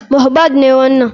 Mohbad ne wanan.